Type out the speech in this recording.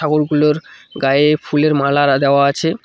ঠাকুরগুলোর গায়ে ফুলের মালারা দেওয়া আছে।